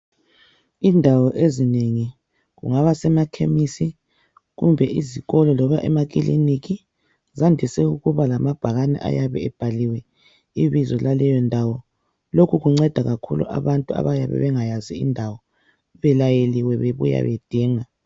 Indawo ezinengi kungaba semakhemisi kumbe izikolo loba emakiliniki zandise ukuba lamabhakane ayabe ebhaliwe ibizo laleyo ndawo .Lokhu kunceda kakhulu abantu abayabe bengayazi indawo belayeliwe bebuya bedinga